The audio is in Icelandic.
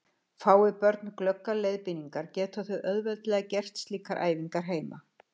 Fái börn glöggar leiðbeiningar geta þau auðveldlega gert slíkar æfingar heima.